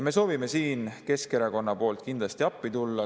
Me soovime siin Keskerakonna poolt kindlasti appi tulla.